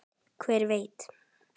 Hver veit?